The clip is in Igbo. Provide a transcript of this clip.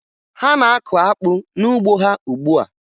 Ha na-akụ akpụ n'ugbo ha ugbua